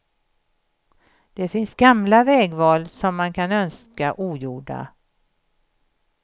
Det finns gamla vägval som man kan önska ogjorda.